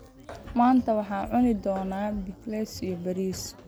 Maanta waxaan cuni doonaa pickles iyo bariis.